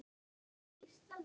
Elsku Kári.